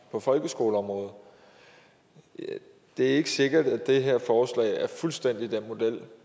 på folkeskoleområdet det er ikke sikkert at det her forslag er fuldstændig den model